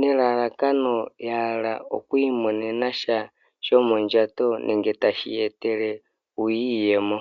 nelalakano yahala oku imonena sha shomondjato nenge tashi ya etele iiyemo.